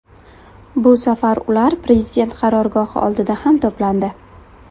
Bu safar ular prezident qarorgohi oldida ham to‘plandi.